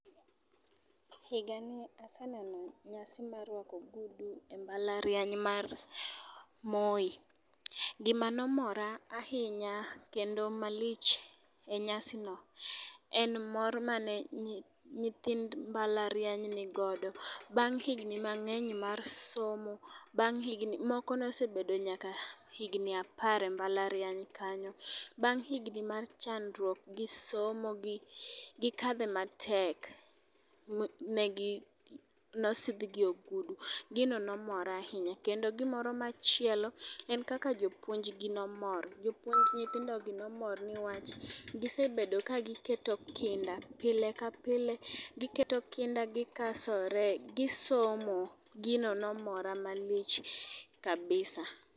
Higa ni aseneno nyasi mar rwako ogudu e mbalariany mar Moi. Gima nomora ahinya kendo malich e nyasi no en mor mane nyithind mbalariany ni godo, bang higni mang'eny mar somo moko nosebedo nyaka higni apar e mbalariany kanyo. Bang' higni mar chandruok gi somo gi gikadhe matek negi nosidhgi ogudu gino nomora ahinya. Kendo gino moro machielo en kaka jopuonj gi nomor jopuonj nythindo gi nomor nikech gisebedo ka giketo kinda pile ka pile giketo kinda gikasore gi somo. Gino nomora malich kabisa.